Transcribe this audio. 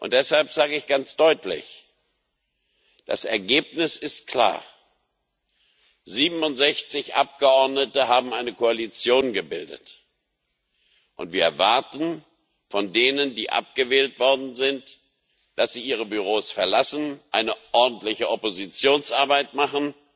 Deshalb sage ich ganz deutlich Das Ergebnis ist klar, 67 Abgeordnete haben eine Koalition gebildet, und wir erwarten von denen, die abgewählt worden sind, dass sie ihre Büros verlassen, eine ordentliche Oppositionsarbeit machen